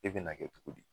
E bɛna kɛ cogo di